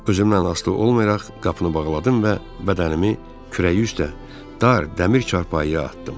Özümdən asılı olmayaraq qapını bağladım və bədənimi kürəyi üstə dar dəmir çarpayıya atdım.